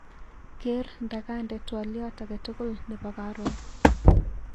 Ker nda kande twaliot akatukul nebo karon.